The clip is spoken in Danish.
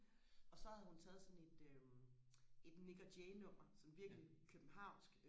og så havde hun taget sådan et øh et Nik og Jay nummer sådan virkelig Københavnsk